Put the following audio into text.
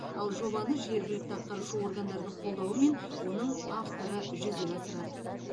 ал жобаны жергілікті атқарушы органдардың қолдауымен оның авторы жүзеге асырады